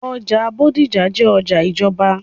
ọjà Bódìjà jẹ́ ọjà ìjọba.